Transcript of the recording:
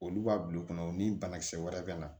Olu b'a bil'u kɔnɔ u ni banakisɛ wɛrɛ bɛ na